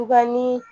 ni